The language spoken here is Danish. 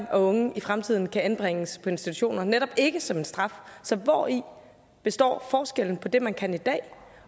og unge i fremtiden kan anbringes på institutioner netop ikke som en straf så hvori består forskellen på det man kan i dag